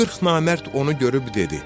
O 40 namərd onu görüb dedi: